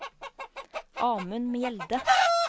Amund Mjelde